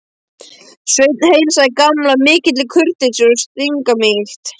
Sveinn heilsaði Gamla af mikilli kurteisi og stimamýkt.